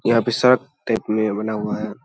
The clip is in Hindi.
यहाँ पे सब देखने में बना हुआ है।